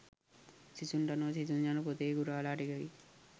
සිසුන්ට අනුව සිසුන් යනු පොතේ ගුරාලා ටිකකි